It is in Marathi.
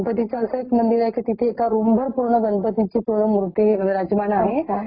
तिथलं म्हणजे एक वेगळंच कारण आहे. ते पुरातन आहे तिथे अजून नाही गेलेलो